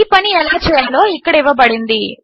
ఈ పని ఎలా చేయాలో ఇక్కడ ఇవ్వబడింది